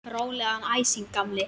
Rólegan æsing, gamli!